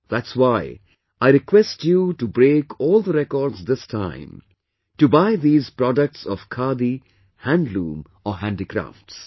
That's why I request you to break all the records this time to buy these products of Khadi, handloom or handicrafts